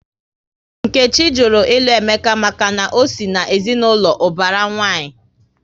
Nkechi jụrụ ilu Emeka maka na ọ sị na ezinaụlọ ubara nwanyi